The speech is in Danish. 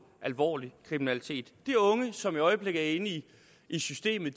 alvorlig kriminalitet de unge som i øjeblikket er inde i systemet